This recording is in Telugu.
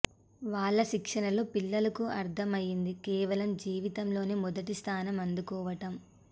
వాళ్ల శిక్షణలో పిల్లలకు అర్థం అయింది కేవలం జీవితంలో మొదటిస్థానం అందుకోవటం